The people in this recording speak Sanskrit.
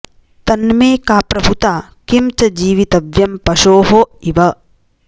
तन्मे का प्रभुता किं च जीवितव्यं पशोः इव